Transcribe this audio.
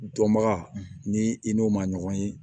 Dɔnbaga ni i n'o ma ɲɔgɔn ye